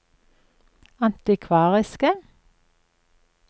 antikvariske